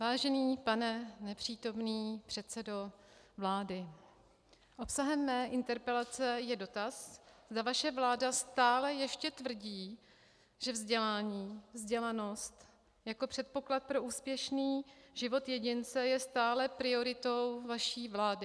Vážený pane nepřítomný předsedo vlády, obsahem mé interpelace je dotaz, zda vaše vláda stále ještě tvrdí, že vzdělání, vzdělanost jako předpoklad pro úspěšný život jedince, je stále prioritou vaší vlády.